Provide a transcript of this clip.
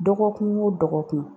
Dɔgɔkun o dɔgɔkun